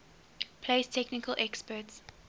place technical experts